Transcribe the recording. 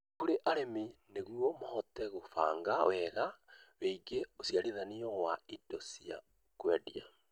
Kũrĩ arĩmi nĩguo mahote gũbanga wega wĩgie ũciarithania wa indo cia kũendia.